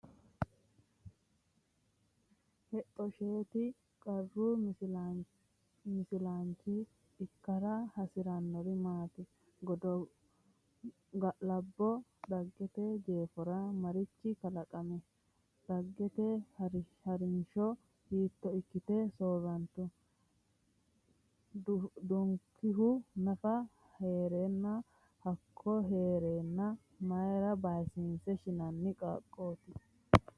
Hexxo Shetto Qaru misilaanchi ikkara hasi’rinori maati? Ga’labbo Dhaggete jeefora marichi kalaqami? Dhaggete ha’rinsho hiitto ikkite soorrantu? duhinokkihu nafa ha’ra hooge hee’reenna mayra baysiinse shinanni qaaqqooti?